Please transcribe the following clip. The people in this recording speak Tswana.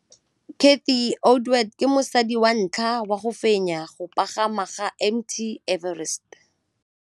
Cathy Odowd ke mosadi wa ntlha wa go fenya go pagama ga Mt Everest.